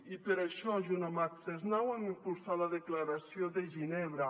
i per això junt amb access now hem impulsat la declaració de ginebra